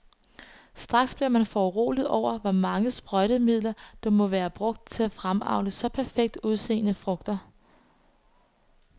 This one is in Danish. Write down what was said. Straks bliver man foruroliget over, hvor meget sprøjtemiddel, der må være brugt for at fremavle så perfekt udseende frugter.